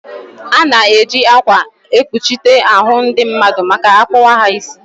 Ana-eji akwa ekpuchite ahụ ndị mmadụ ma akpụwa ha isi.